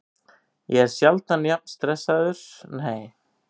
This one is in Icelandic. Ég er sjaldan stressaður og ég var ekkert stressaður fyrir þennan leik.